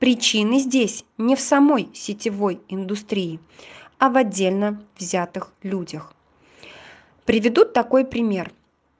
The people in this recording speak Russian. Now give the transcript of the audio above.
причины здесь не в самой сетевой индустрии а в отдельно взятых людях приведу такой пример